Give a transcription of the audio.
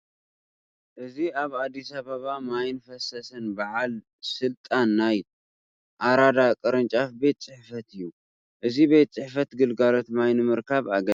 እዚ ኣብ ኣዲስ ኣባባ ማይን ፈሳስን በዓል ስልጣን ናይ ኣራዳ ቅርንጫፍ ቤት ፅሕፈት እዩ፡፡ እዚ ቤት ፅሕፈት ግልጋሎት ማይ ንምርካብ ኣገዳሲ እዩ፡፡